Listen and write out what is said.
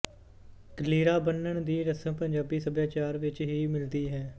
ਕਲੀਰਾ ਬੰਨਣ ਦੀ ਰਸਮ ਪੰਜਾਬੀ ਸੱਭਿਆਚਾਰ ਵਿੱਚ ਹੀ ਮਿਲਦੀ ਹੈ